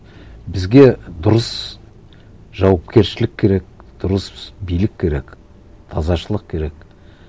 бізге дұрыс жауапкершілік керек дұрыс билік керек тазашылық керек